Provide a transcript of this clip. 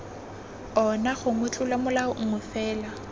ona gongwe tlolomolao nngwe fela